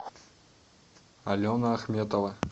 алена ахметова